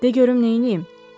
De görüm nə eləyim.